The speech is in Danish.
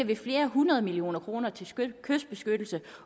vi flere hundrede millioner kroner til kystbeskyttelse